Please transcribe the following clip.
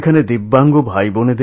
ওখানে আমার দিব্যাঙ্গ